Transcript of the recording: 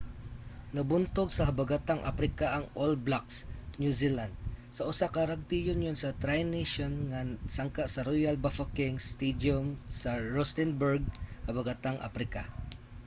nabuntog sa habagatang aprika ang all blacks new zealand sa usa ka rrugby union sa tri nations nga sangka sa royal bafokeng stadium sa rustenburg habagatang aprika